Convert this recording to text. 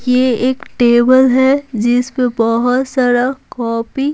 ये एक टेबल है जिस पे बहुत सारा कॉपी।